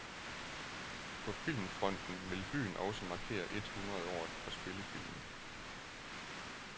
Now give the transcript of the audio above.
På filmfronten vil byen også markere ethundrede året for spillefilmen.